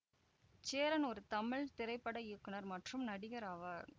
சேரன் ஒரு தமிழ் திரைப்பட இயக்குநர் மற்றும் நடிகர் ஆவார்